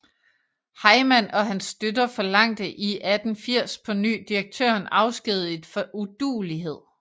Heyman og hans støtter forlangte i 1880 på ny direktøren afskediget for uduelighed